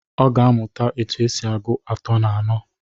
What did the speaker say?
Ọ ga-amuta otu esi agụ atọ na anọ.